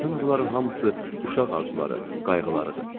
Bütün bunların hamısı uşaq arzuları, qayğılarıdır.